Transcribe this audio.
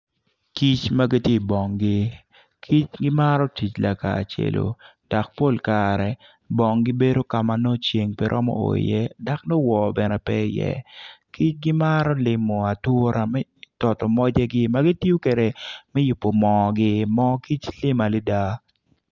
Kic ma giti i bonggi kic gimaro tic lakacelo dok pol kare bonggi bedo ka ma nongo ceng pe romo o iye dak nongo woo bene pe iye kic gimaro limo atura me toto mojegi ma gitiyo kede me yubu moogi moo kic lim adida